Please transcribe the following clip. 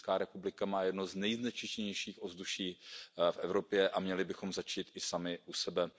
Česká republika má jedno z nejznečištěnějších ovzduší v Evropě. Měli bychom začít i sami u sebe.